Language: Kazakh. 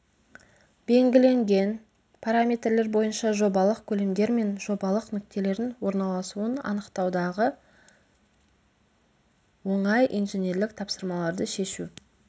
белгіленген параметрлер бойынша жобалық көлемдер мен жобалық нүктелердің орналасуын анықтаудағы оңай инженерлік тапсырмаларды шешу